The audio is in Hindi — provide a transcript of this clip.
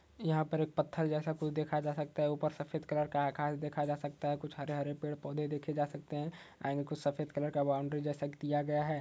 यहां पर एक पत्थर जैसा कुछ देखा जा सकता है। ऊपर सफेद कलर का आकाश देखा जा सकता है। कुछ हरे-हरे पेड़-पौधे देखे जा सकते हैं एंड कुछ सफेद कलर का बाउंड्री जैसा कुछ दिया गया है।